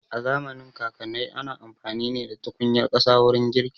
A zamanin kakanai ana amfani ne da tukunyar ƙasa wurin girki